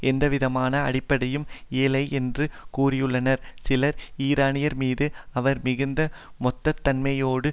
எந்தவிதமான அடிப்படையும் இல்லையென்று கூறியுள்ளனர் சிலர் ஈரானியர் மீது அவர் மிகுந்த மெத்தனத்தன்மையோடு